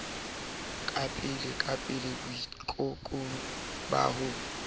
ka pelepele boitekong ba ho